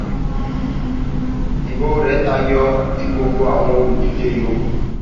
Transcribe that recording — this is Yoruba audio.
ibo rẹ tayọ ti gbogbo àwọn olùdíje yòókù